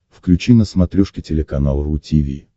включи на смотрешке телеканал ру ти ви